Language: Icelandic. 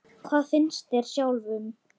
Þóra: Hvað finnst þér sjálfum?